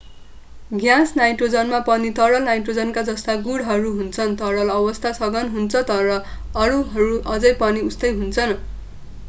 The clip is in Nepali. ग्यास नाइट्रोजनमा पनि तरल नाइट्रोजनका जस्ता गुणहरू हुन्छन् तरल अवस्था सघन हुन्छ तर अणुहरू अझै पनि उस्तै हुन्छन्